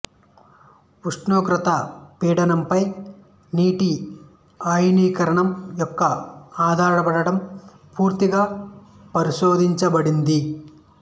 ఉష్ణోగ్రత పీడనంపై నీటి అయనీకరణం యొక్క ఆధారపడటం పూర్తిగా పరిశోధించబడింది